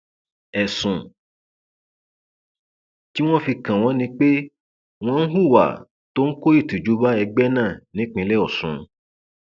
ẹsùn tí wọn fi kàn wọn ni pé wọn ń hùwà tó ń kó ìtìjú bá ẹgbẹ náà nípínlẹ ọsùn